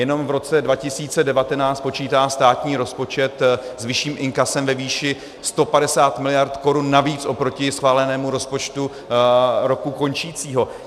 Jenom v roce 2019 počítá státní rozpočet s vyšším inkasem ve výši 150 mld. korun navíc oproti schválenému rozpočtu roku končícího.